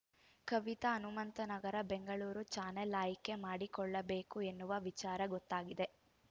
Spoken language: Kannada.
ಕವಿತಾ ಹನುಮಂತನಗರ ಬೆಂಗಳೂರು ಚಾನೆಲ್‌ ಆಯ್ಕೆ ಮಾಡಿಕೊಳ್ಳಬೇಕು ಎನ್ನುವ ವಿಚಾರ ಗೊತ್ತಾಗಿದೆ